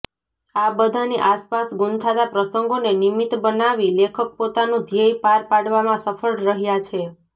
આ બધાની આસપાસ ગૂંથાતા પ્રસંગોને નિમિત્ત બનાવી લેખક પોતાનું ધ્યેય પાર પાડવામાં સફળ રહ્યાં છે